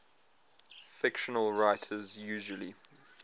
fiction writers usually